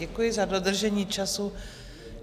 Děkuji za dodržení času.